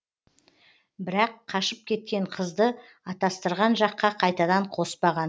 бірақ қашып кеткен қызды атастырған жаққа қайтадан қоспаған